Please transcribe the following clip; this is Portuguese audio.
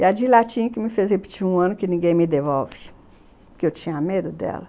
E a de latim que me fez repetir um ano que ninguém me devolve, porque eu tinha medo dela.